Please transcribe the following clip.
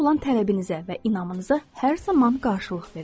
Ona olan tələbinizə və inamınıza hər zaman qarşılıq verin.